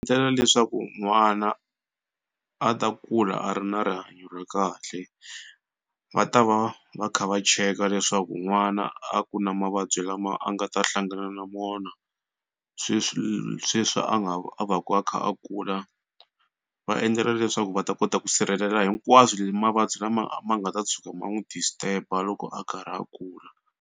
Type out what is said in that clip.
leswaku n'wana a ta kula a ri na rihanyo ra kahle va ta va va kha va cheka leswaku n'wana a ku na mavabyi lama a nga ta hlangana na mona sweswi sweswi a nga va a vaku a kha a kula. Va endlela leswaku va ta kota ku sirhelela hinkwaswo mavabyi lama ma nga ta tshuka ma n'wi disturb-a loko a karhi a kula.